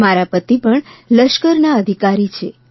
મારા પતિ પણ લશ્કરના અધિકારી છે